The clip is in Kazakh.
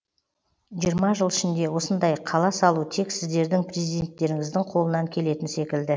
жиырма жыл ішінде осындай қала салу тек сіздердің президенттеріңіздің қолынан келетін секілді